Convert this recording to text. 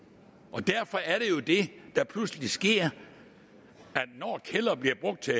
derfor er det der pludselig sker når kælderen bliver brugt til